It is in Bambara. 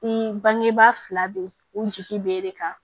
I bangebaa fila bɛ u jigi bɛ e de kan